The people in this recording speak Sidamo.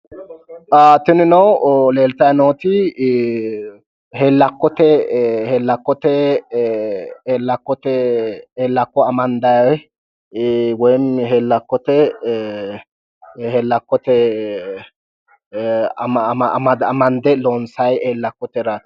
tinino leeltayi nooti hellakkote hellakko amande woy hellakko amande looonsayi hellakkote raati